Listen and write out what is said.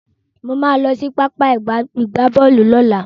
Mo máa lọ sí pápá ìgbábọ́ọ̀lù lọ́la.